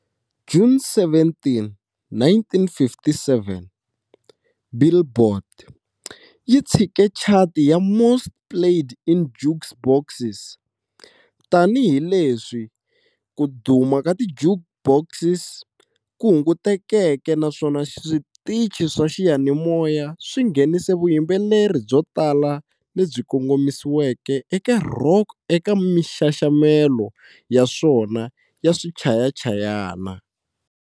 June 17, 1957,"Billboard" yi tshike chati ya"Most Played in Jukeboxes", tanihi leswi ku duma ka ti-jukebox ku hungutekeke naswona switichi swa xiyanimoya swi nghenise vuyimbeleri byo tala lebyi kongomisiweke eka rock eka minxaxamelo ya swona ya swichayachayana.